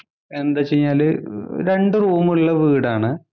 എന്താച്ചു കഴിഞ്ഞാല് രണ്ടു റൂം ഉള്ള വീടാണ്.